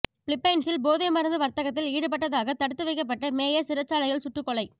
பிலிப்பைன்சில் போதைமருந்து வர்த்தகத்தில் ஈடுபட்டதாக தடுத்து வைக்கப்பட்ட மேயர் சிறைச்சாலையில் சுட்டுக் கொலை